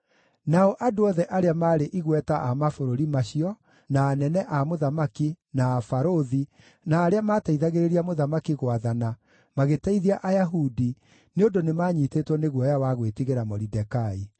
Nao andũ othe arĩa maarĩ igweta a mabũrũri macio, na anene a mũthamaki, na abarũthi, na arĩa mateithagĩrĩria mũthamaki gwathana magĩteithia Ayahudi, nĩ ũndũ nĩmanyiitĩtwo nĩ guoya wa gwĩtigĩra Moridekai.